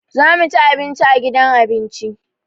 Za mu ci abinci a gidan abinci.